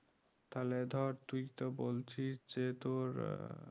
তাহলে ধর তুই তো বলছিস যে তোর